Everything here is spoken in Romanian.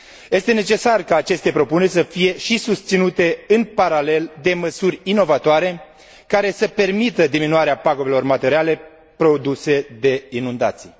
Este necesar ca aceste propuneri să fie susținute în paralel de măsuri inovatoare care să permită diminuarea pagubelor materiale produse de inundații.